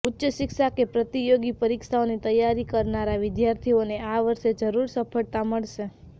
ઉચ્ચ શિક્ષા કે પ્રતિયોગી પરિક્ષાઓની તૈયારી કરનારા વિદ્યાર્થીઓને આ વર્ષે જરૂર સફળતા મળશે